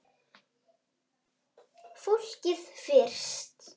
Fólkið fyrst!